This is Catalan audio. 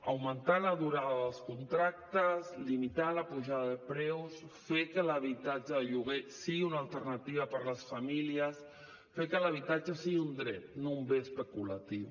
augmentar la durada dels contractes limitar la pujada de preus fer que l’habitatge de lloguer sigui una alternativa per a les famílies fer que l’habitatge sigui un dret no un bé especulatiu